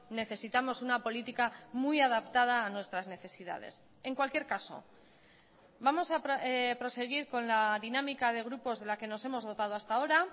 necesitamos una política muy adaptada a nuestras necesidades en cualquier caso vamos a proseguir con la dinámica de grupos de la que nos hemos dotado hasta ahora